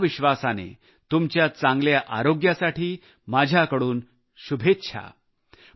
या विश्वासाने तुमच्या चांगल्या आरोग्यासाठी माझ्याकडून शुभेच्छा